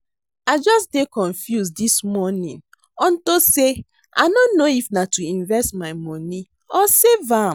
I just dey confused dis morning unto say I no know if na to invest my money or save am